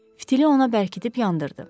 Fitili ona bərkidirib yandırdı.